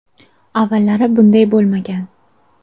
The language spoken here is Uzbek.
Avvallari bunday bo‘lmagan.